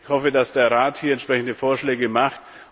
Ich hoffe, dass der Rat hier entsprechende Vorschläge macht.